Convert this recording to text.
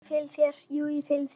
Jú, ég fylgi þér.